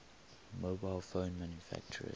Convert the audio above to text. mobile phone manufacturers